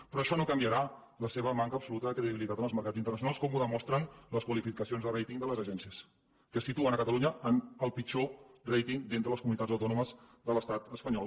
però això no canviarà la seva manca absoluta de credibilitat en els mercats internacionals com ho demostren les qualificacions de ratingcies que situen catalunya en el pitjor ratingles comunitats autònomes de l’estat espanyol